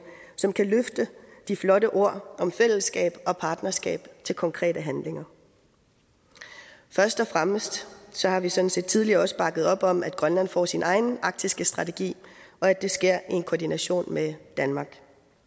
som kan løfte de flotte ord om fællesskab og partnerskab til konkrete handlinger først og fremmest har vi sådan set også tidligere bakket op om at grønlands får sin egen arktiske strategi og at det sker i en koordination med danmark